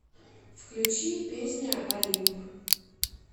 включи песня олимп